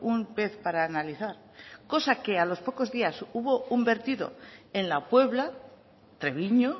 un pez para analizar cosa que a los pocos días hubo un vertido en la puebla treviño